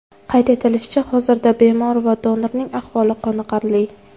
Qayd etilishicha, hozirda bemor va donorning ahvoli qoniqarli.